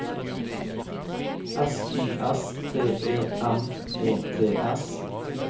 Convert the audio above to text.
S Y S T E M E T S